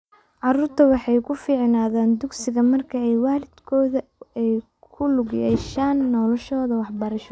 Carruurtu waxay ku fiicnaadaan dugsiga marka waalidkood ay ku lug yeeshaan noloshooda waxbarasho.